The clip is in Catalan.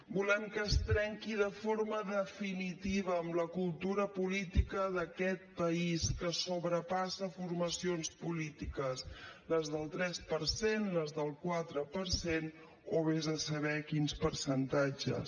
volem que es trenqui de forma definitiva amb la cultura política d’aquest país que sobrepassa formacions polítiques les del tres per cent les del quatre per cent o ves a saber quins percentatges